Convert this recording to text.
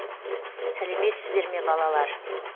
сәлеметсіздер ме балалар